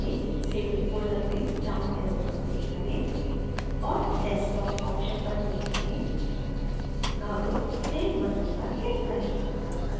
save in folder में down arrow पर click करें और desktopऑप्शन पर click करें अब save button पर click करें